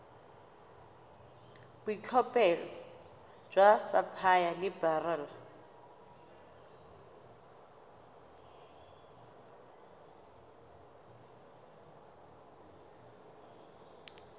boitlhophelo jwa sapphire le beryl